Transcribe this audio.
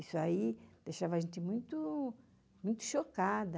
Isso deixava a gente muito chocada.